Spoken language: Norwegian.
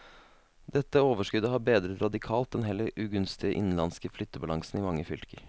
Dette overskuddet har bedret radikalt den heller ugunstige innenlandske flyttebalansen i mange fylker.